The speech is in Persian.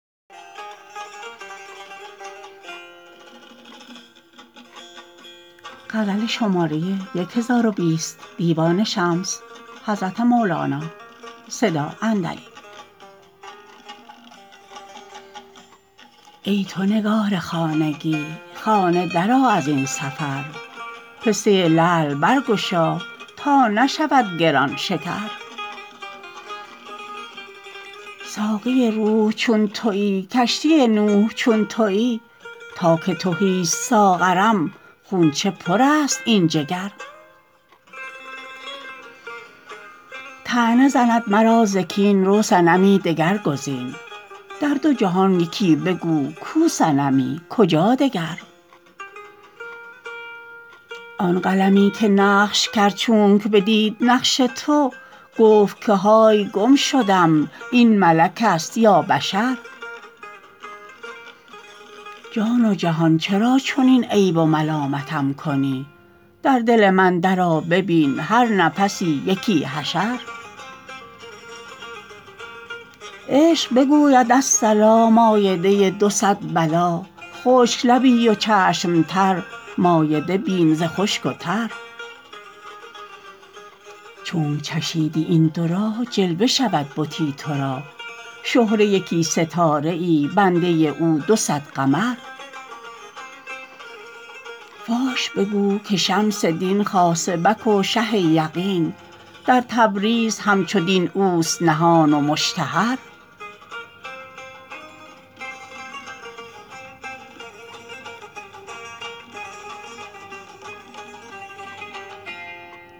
ای تو نگار خانگی خانه درآ از این سفر پسته لعل برگشا تا نشود گران شکر ساقی روح چون توی کشتی نوح چون توی تا که تهیست ساغرم خون چه پرست این جگر طعنه زند مرا ز کین رو صنمی دگر گزین در دو جهان یکی بگو کو صنمی کجا دگر آن قلمی که نقش کرد چونک بدید نقش تو گفت که های گم شدم این ملکست یا بشر جان و جهان چرا چنین عیب و ملامتم کنی در دل من درآ ببین هر نفسی یکی حشر عشق بگوید الصلا مایده دو صد بلا خشک لبی و چشم تر مایده بین ز خشک و تر چونک چشیدی این دو را جلوه شود بتی تو را شهره یکی ستاره ای بنده او دو صد قمر فاش بگو که شمس دین خاصبک و شه یقین در تبریز همچو دین اوست نهان و مشتهر